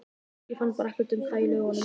Ég fann bara ekkert um það í lögunum.